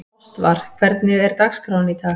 Ástvar, hvernig er dagskráin í dag?